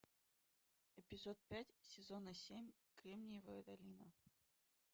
эпизод пять сезона семь кремниевая долина